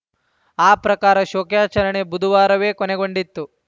ಆ ಪ್ರಕಾರ ಶೋಕಾಚರಣೆ ಬುಧವಾರವೇ ಕೊನೆಗೊಂಡಿತ್ತು